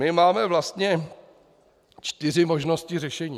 My máme vlastně čtyři možnosti řešení.